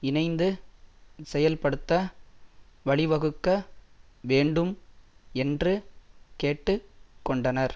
இணைந்து செயல்படுத்த வழிவகுக்க வேண்டும் என்று கேட்டு கொண்டனர்